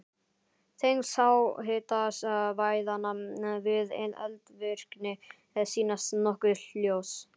Tengsl háhitasvæðanna við eldvirkni sýnast nokkuð ljós.